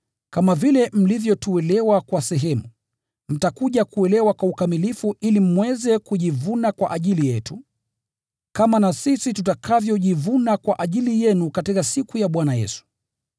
kama vile mlivyotuelewa kwa sehemu, mtakuja kuelewa kwa ukamilifu ili mweze kujivuna kwa ajili yetu, kama na sisi tutakavyojivuna kwa ajili yenu katika siku ya Bwana Yesu.